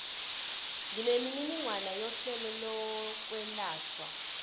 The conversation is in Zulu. nemininingwane yohlelo lokwelashwa